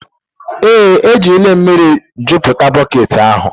Ee, ejirila m mmiri jupụta bọket ahụ.